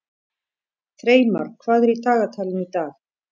Freymar, hvað er í dagatalinu í dag?